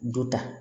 Du ta